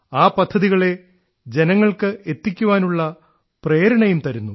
ആ പദ്ധതികളെ ജനങ്ങൾക്ക് എത്തിക്കാനുള്ള പ്രേരണയും തരുന്നു